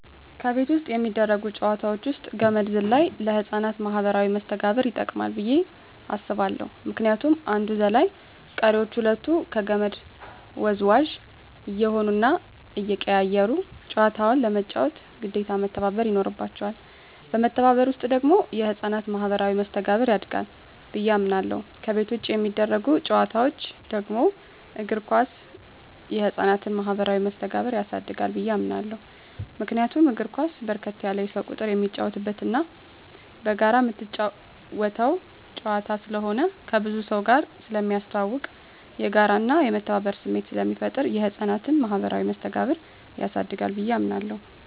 ከቤት ውስጥ የሚደረጉ ጨዋታወች ውስጥ ገመድ ዝላይ ለህፃናት ማኀበራዊ መስተጋብር ይጠቅማ ብየ አስባለሁ ምክንያቱም አንዱ ዘላይ ቀሪወች ሁለቱ ከመድ ወዝዋዥ እየሆኑና እየተቀያየሩ ጨዋታውን ለመጫወት ግዴታ መተባበር ይኖርባቸዋል በመተባበር ውስጥ ደግሞ የህፃናት ማኋበራዊ መስተጋብር ያድጋል ብየ አምናለሁ። ከቤት ውጭ የሚደረጉ ጨዋታወች ደግሞ እግር ኳስ የህፃናትን ማህበራዊ መስተጋብር ያሳድጋል ብየ አምናለሁ። ምክንያቱም እግር ኳስ በርከት ያለ የሰው ቁጥር የሚጫወትበትና በጋራ ምትጫወተው ጨዋታ ስለሆነ ከብዙ ሰውጋር ስለሚያስተዋውቅ፣ የጋራና የመተባበር ስሜት ስለሚፈጥር የህፃናትን ማኀበራዊ መስተጋብር ያሳድጋል ብየ አምናለሁ።